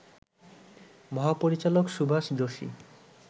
মহাপরিচালক সুভাষ যোশী